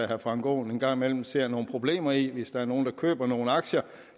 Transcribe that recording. herre frank aaen en gang imellem ser nogle problemer i altså hvis der er nogle der køber nogle aktier